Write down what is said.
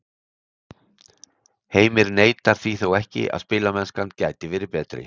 Heimir neitar því þó ekki að spilamennskan gæti verið betri.